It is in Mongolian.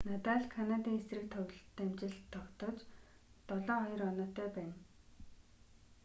надаль канадын эсрэг амжилт тогтоож 7-2 оноотой байна